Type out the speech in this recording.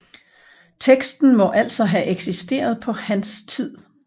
Teksten må altså have eksisteret på hans tid